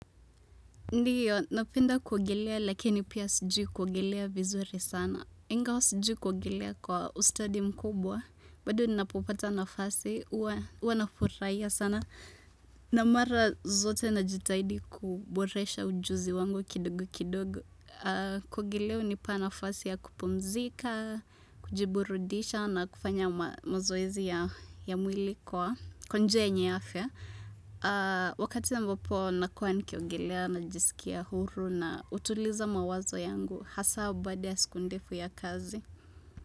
Ndiyo, napenda kuogelea lakini pia sijui kuogelea vizuri sana. Ingawa sijui kuogelea kwa ustadi mkubwa, bado ninapopata nafasi, huwa nafurahia sana. Na mara zote najitahidi kuboresha ujuzi wangu kidogo kidogo. Kuogelea hunipa nafasi ya kupumzika, kujiburudisha na kufanya mazoezi ya mwili kwa njia yenye afya. Wakati ambapo nakuwa nikiogelea najisikia huru na hutuliza mawazo yangu hasa baada ya siku ndefu ya kazi.